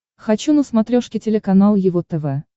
хочу на смотрешке телеканал его тв